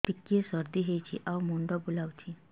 ଟିକିଏ ସର୍ଦ୍ଦି ହେଇଚି ଆଉ ମୁଣ୍ଡ ବୁଲାଉଛି